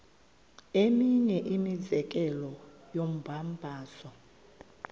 eminye imizekelo yombabazo